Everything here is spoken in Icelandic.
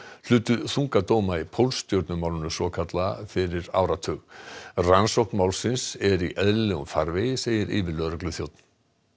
hlutu þunga dóma í svokallaða fyrir áratug rannsókn málsins er í eðlilegum farvegi segir yfirlögregluþjónn